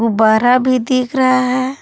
बारा भी दिख रहा है।